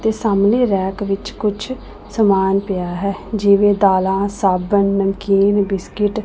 ਤੇ ਸਾਹਮਣੇ ਰੈਕ ਵਿੱਚ ਕੁਝ ਸਮਾਨ ਪਿਆ ਹੈ ਜਿਵੇਂ ਦਾਲਾਂ ਸਾਬਣ ਨਮਕੀਨ ਬਿਸਕਿਟ ।